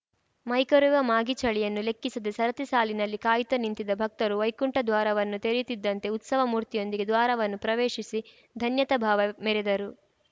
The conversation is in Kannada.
ಮೈಕೊರೆವ ಮಾಗಿ ಚಳಿಯನ್ನು ಲೆಕ್ಕಿಸದೆ ಸರತಿ ಸಾಲಿನಲ್ಲಿ ಕಾಯುತ್ತಾ ನಿಂತಿದ್ದ ಭಕ್ತರು ವೈಕುಂಠ ದ್ವಾರವನ್ನು ತೆರೆಯುತ್ತಿದ್ದಂತೆ ಉತ್ಸವ ಮೂರ್ತಿಯೊಂದಿಗೆ ದ್ವಾರವನ್ನು ಪ್ರವೇಶಿಸಿ ಧನ್ಯತಾ ಭಾವ ಮೆರೆದರು